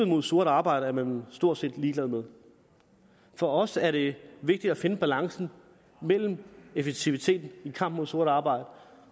mod sort arbejde er man stort set ligeglad med for os er det vigtigt at finde balancen mellem effektivitet i kampen mod sort arbejde